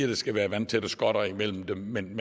der skal være vandtætte skotter imellem dem men